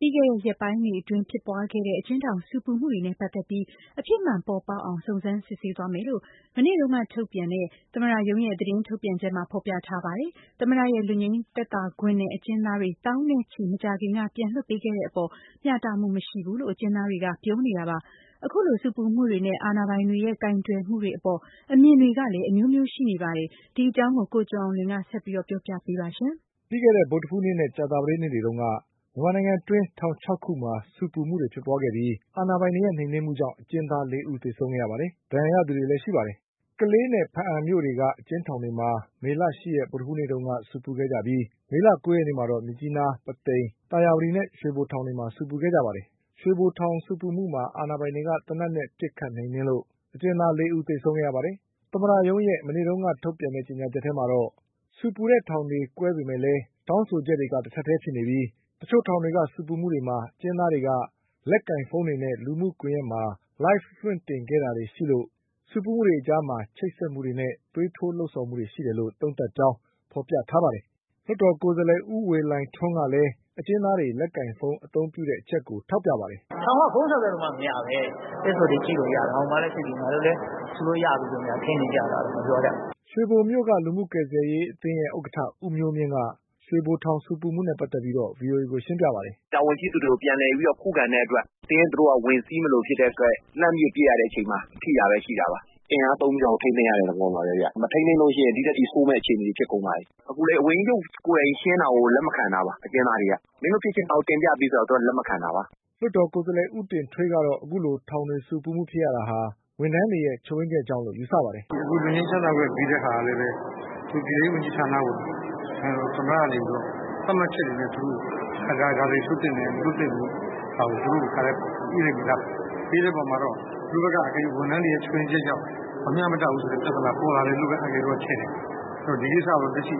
ပြီးခဲ့တဲ့ရက်ပိုင်းတွေအတွင်းဖြစ်ပွားခဲ့တဲ့ အကျဉ်းထောင်ဆူပူမှုတွေနဲ့ ပတ်သက်ပြီး အဖြစ်မှန် ပေါ်ပေါက်အောင် စုံစမ်းစစ်ဆေး သွားမယ်လို့ မနေ့တုန်းကထုတ်ပြန်တဲ့ သမ္မတရုံးရဲ့ သတင်းထုတ်ပြန်ချက်မှာ ဖေါ်ပြထားပါတယ်။ သမ္မတရဲ့ လွတ်ငြိမ်း သက်သာခွင့်နဲ့ အကျဉ်းသားတွေ သောင်းနဲ့ချီ မကြာခင်က ပြန်လွှတ်ပေးတဲ့အပေါ် မျှတမှုမရှိဘူးလို့ အကျဉ်းသားတွေက ပြောနေကြတာပါ။ အခုလိုဆူပူမှုတွေနဲ့ အာဏာပိုင်တွေရဲ့ကိုင်တွယ်မှုတွေအပေါ် အမြင်တွေကလည်း အမျိုးမျိုးရှိနေပါ တယ်။ ဒီအကြောင်း ကိုကျော်အောင်လွင်ဆက်ပြောပါလိမ့်မယ်။ ပြီးခဲ့တဲ့ဗုဒ္ဓဟူးနဲ့ ကြာသပတေးနေ့တွေတုန်းက မြန်မာနိုင်ငံအတွင်း ထောင်၆ခုမှာ ဆူပူမှုတွေ ဖြစ်ပွားခဲ့ပြီး အာဏာပိုင်တွေရဲ့နှိမ်နင်းမှုကြောင့် အကျဉ်းသား လေးဦး သေဆုံးခဲ့ရပါတယ်။ ဒဏ်ရာရသူတွေလည်း ရှိပါတယ်။ ကလေးနဲ့ ဘားအံမြို့တွေက အကျဉ်းထောင်တွေမှာ မေလ ၈ရက်နေ့ဗုဒ္ဓဟူးနေ့တုန်းက ဆူပူခဲ့ကြပြီး ၊ မေလ၉ရက်နေ့မှာတော့ မြစ်ကြီးနား၊ ပုသိမ်၊ သာယာဝတီ နဲ့ရွှေဘို ထောင်တွေမှာ ဆူပူခဲ့ကြပါတယ်။ ရွှေဘိုထောင် ဆူပူမှုမှာ အာဏာပိုင်တွေက သေနတ်နဲ့ ပစ်နှိမ်နင်းလို့ အကျဉ်းသားလေးဦး သေဆုံးခဲ့ပါတယ်။ သမ္မတရုံးရဲ့ မနေ့က ထုတ်ပြန်ချက်ထဲမှာတော့ ဆူပူတဲ့ထောင်တွေကွဲပေမဲ့ တောင်းဆိုချက် တွေက တထပ်ထဲဖြစ်နေပြီး တချို့ထောင်တွေမှာ ဆူပူမှုတွေကို အကျဉ်းသားတွေက လက်ကိုင်ဖုန်းနဲ့ လူမှုကွန်ယက်မှာ Live လွှင့်တင်ခဲ့တာတွေရှိလို့ ဆူပူမှုတွေအကြား ချိတ်ဆက်မှုတွေနဲ့ သွေးထိုး လှုံ့ဆော်မှုတွေရှိတယ်လို့ သုံးသပ်ကြောင်း ဖေါ်ပြထားပါတယ်။ လွှတ်တော်ကိုယ်စားလှယ် ဦးဝေလှိုင်ထွန်းကလည်း အကျဉ်းသားတွေ လက်ကိုင်ဖုန်း အသုံးပြုတဲ့ အချက်ကို ထောက်ပြပါတယ်။ “ထောင်က ဖုန်းဆက်သွယ်လို့မှ မရပဲ ။ Facebook တွေလွှင့်လို့ရပြီ ငါတို့လည်း ဆူလို့ရပြီ ထင်နေကြလားတော့ မပြောတတ်ဘူး။” ရွှေဘိုမြို့ကလူမှုကယ်ဆယ်ရေးအသင်း ရဲ့ဥက္ကဌ ဦးမျိုးမြင့်က ရွှေဘိုထောင်ဆူပူမှုနဲ့ ပတ်သက်ပြီး ဗီအိုအေကိုရှင်းပြပါတယ်။ “တာဝန်ရှိသူတွေကို ပြန်ပြီးတော့ ခုခံတဲ့အတွက် အတင်းသူတို့က ဝင်စီးမလိုဖြစ်တဲ့အတွက် လှမ်းပစ်တဲ့အချိန်မှာ ထိတာရှိပါတယ်။ အင်အားသုံးပြီးတော့ ထိန်းသိမ်းရတဲ့ သဘောပါပဲ မထိန်းသိမ်းလို့ရှိရင် ဒီထက်ပိုဆိုးမယ့်အခြေအနေတွေ ဖြစ်ကုန်မယ် အခုလည်း ဝန်ကြီးချုပ်ကိုယ်တိုင်ရှင်းတာကို လက်မခံတာပါ အကျဉ်းသားတွေက ။ မင်းတို့ဖြစ်ခြင်တာကို ငါတင်ပြပေးမယ် ဆိုတာကို လက်မခံတာပါခင်ဗျ။” လွှတ်တော်ကိုယ်စားလှယ် ဦးတင်ထွေးကတော့ အခုလိုထောင် ဆူပူမှုတွေဖြစ် ရတာ ဝန်ထမ်းတွေရဲ့ချို့ယွင်းချက်ကြောင့်လို့ယူဆပါတယ်။ “ လွတ်ငြိမ်းချမ်းသာခွင့်ပေးတာကလည်း ပြည်ထဲရေးဝန်ကြီးဌာနကို နိုင်ငံတော်သမ္မတကနေမှ သတ်မှတ်ချက်တွေနဲ့ ဒါတွေလွတ်သင့်တယ် ၊ ဒါတွေမလွတ်သင့်ဘူးဆိုတာ သူတို့ တခါတည်းညှိထားပြီးသား။ အဲဒီအပေါ်မှာ သူတို့ဘက်က အကယ်၍ ဝန်ထမ်းတွေရဲ့ ချို့ယွင်းချက်ကြောင့် မမျှတဘူးဆိုတဲ့ ပြဿနာပေါ်လာတယ်လို့ အန်ကယ်တို့ဘက်က ထင်တယ်။ ဒီကိစ္စကို လက်ရှိ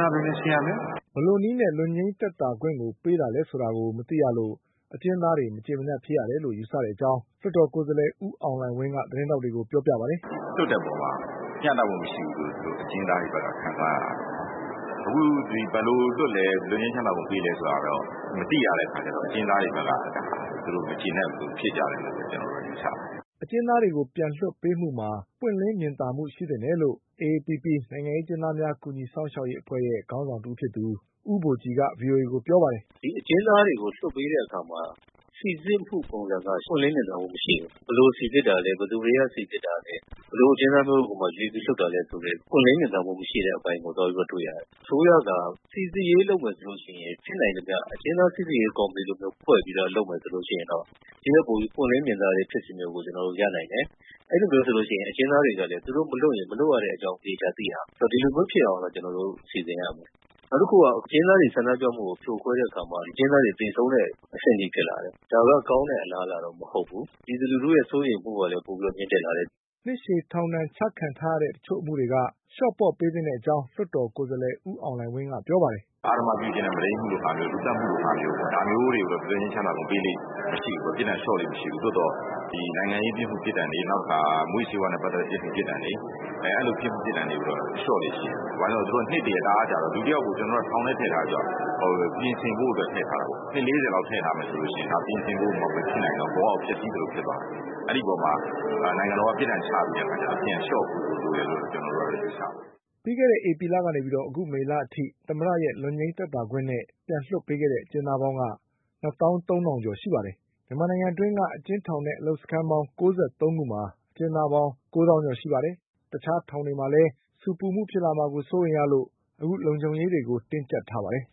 ဌာနအတွင်းလည်း ရှင်းရမယ်။ ” ဘယ်လိုနည်းနဲ့ လွတ်ငြိမ်းသက်သာ ခွင့်ကိုပေးတာလဲဆိုတာကို မသိရလို့ အကျဉ်းသားတွေ မကျေမနပ်ဖြစ်ရတယ်လို့ယူဆတဲ့အကြောင်း လွှတ်တော်ကိုယ်စား လှယ် ဦးအောင်လှိုင်ဝင်းက သတင်းထောက်တွေကိုပြောပါတယ်။ “လွှတ်တဲ့အပေါ်မှာ မျှတမှုမရှိဘူးလို့ အကျဉ်းသားတွေဘက်က ခံစားရတာပါ။ အခု ဘယ်လိုလွတ်လဲ၊ လွတ်ငြိမ်းချမ်းသာခွင့်ပေးလဲဆိုတာကတော့ မသိရတဲ့အတွက် အကျဉ်းသားတွေဘက်က ဒါကို မကျေနပ်လို့ ဒီလိုဖြစ်ကြတယ် လို့ ကျနော်တို့ ယူဆပါတယ်။” အကျဉ်းသားတွေပြန်လွှတ်ပေးမှုမှာ ပွင့်လင်း မြင်သာမှုရှိသင့်တယ်လို့ AAPPB နိုင်ငံရေးအကျဉ်းသားများ ကူညီစောင့်ရှောက်ရေးအဖွဲ့ရဲ့ခေါင်းဆောင်တဦးဖြစ်သူ ဦးဘို ကြည်က ဗွီအိုအေကိုပြောပါတယ်။ “အကျဉ်းသားတွေကို လွှတ်ပေးတဲ့အခါမှာ စိစစ်မှုပုံစံက ပွင့်လင်းမြင်သာမှုမရှိဘူး။ ဘယ်လိုစိစစ်တာလဲ ဘယ်သူတွေက စိစစ်တာလဲ ဘယ်လိုအကျဉ်းသားတွေကို ရွေးပြီးတော့ လွတ်တာလဲ ဆိုတဲ့ ပွင့်လင်းမြင်သာမှုမရှိတဲ့အပိုင်းကို ကျနော်တို့ တွေ့ရတယ်။ အစိုးရက စိစစ်ရေးလုပ်မယ်ဆိုရင် ဖြစ်နိုင်ရင် အကျဉ်းသား စိစစ်ရေးကော်မတီလိုမျိုးဖွဲ့ပြီးတော့ လုပ်မယ်ဆိုရင်တော့ ဒီထက်ပိုပြီးတော့ ပွင့်လင်းမြင်သာတဲ့ဖြစ်စဉ်တွေကို ကျနော်တို့ရနိုင်တယ်။ အဲလိုမျိုးဆိုရင် အကျဉ်းသားတွေကလည်း သူတို့မလွှတ်ရင် မလွှတ်တဲ့အကြောင်းသေချာသိရမယ်။ ဒီလိုမျိုးဖြစ်အောင်ကျနော်တို့ စီစဉ်ရမယ် နောက်တခုက အကျဉ်းသားတွေ ဆန္ဒပြမှုကို ဖြိုခွဲတဲ့အခါမှာ အကျဉ်းသားတွေ သေဆုံးတဲ့အဆင့်အထိဖြစ်လာတယ်။ ဒါက ကောင်းတဲ့အလားအလာတော့မဟုတ်ဘူး ပြည်သူလူထု စိုးရိမ်မှုကလည်း ပိုပြီးတော့ မြင့်တက်လာတယ်။” နှစ်ရှည်ထောင်ဒဏ် ချခံထားရတဲ့ တချို့အမှုတွေက လျှော့ပေါ့ပေးသင့်တဲ့ အကြောင်း လွှတ်တော် ကိုယ်စားလှယ်ဦးအောင်လှိုင်ဝင်းက ပြောပါတယ်။ “အဓမ္မပြုကျင့်တဲ့ မုဒိမ်းမူလိုဟာမျိုး၊ လူသတ်မှုလိုဟာမျိုးကိုတော့ လွတ်ငြိမ်းချမ်းသာခွင့်ပေးလေ့မရှိဘူး ပြစ်ဒဏ်လျော့လေ့မရှိဘူး။ သို့သော်နိုင်ငံရေး ပြစ်မှု ပြစ်ဒဏ်တွေ နောက်တခါ မူးယစ်ဆေးဝါးနဲ့ ပတ်သက်တဲ့ ပြစ်မှုပြစ်ဒဏ်တွေ ဒါတွေကိုတော့ လျော့လေ့ရှိတယ် ဘာကြောင့်လဲဆိုတော့ နှစ်တွေတအားကြာတော့ လူတယောက်ကို ထောင်ထဲထည့်ထားတယ်ဆိုတာက ပြင်ဆင်ဖို့အတွက်ထည့်ထားတာပေါ့။ နှစ် ၄၀ လောက်ထည့်ထားမယ်ဆိုရင် ဒါက ပြင်ဆင်ဖို့မဖြစ်နိုင်တော့ဘူး ဘဝကို ဖျက်ဆီးသလိုဖြစ်သွားမယ်။ အဲဒီအပေါ်မှာ နိုင်ငံတော်က ပြစ်ဒဏ်ချပေးတဲ့အခါ ပြစ်ဒဏ်လျော့ဖို့လိုတယ်လို့ ကျနော်တို့ ယူဆပါတယ်။” ဧပြီလကနေ မေလအထိ သမ္မတရဲ့လွတ်ငြိမ်းသက်သာခွင့်နဲ့ပြန်လွှတ်ပေးခဲ့တဲ့ အကျဉ်းသားတွေက နှစ်သောင်းသုံးထောင်ကျော်ပါတယ်။ မြန်မာနိုင်ငံ အတွင်းက အကျဉ်းထောင်နဲ့အလုပ်စခန်းပေါင်း ၉၃ခုမှာ အကျဉ်းသားပေါင်း ကိုးသောင်းကျော်ရှိပါတယ်။ တခြားထောင်တွေမှာ လည်း ဆူပူမှုတွေ ဖြစ်လာမှာကို စိုးရိမ်ရလို့ လုံခြုံရေးတွေတင်းကျပ်ထားပါတယ်။